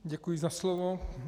Děkuji za slovo.